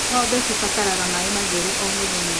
Ngombe cibataraga maĩ matheru o mũthenya.